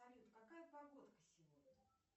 салют какая погодка сегодня